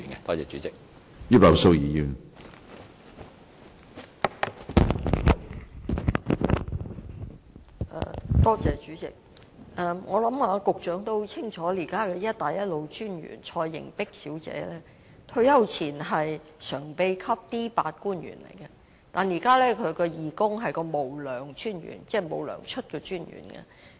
我想局長也很清楚，現時"一帶一路"專員蔡瑩璧小姐在退休前是常任秘書長，屬 D8 級官員，但現在她是義工，"無糧"專員——即沒有薪酬的專員。